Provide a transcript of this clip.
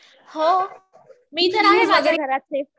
हो. मी तर आहे माझ्या घरात सेफ.